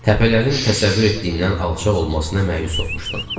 Təpələrin təsəvvür etdiyimdən alçaq olmasına məyus olmuşdum.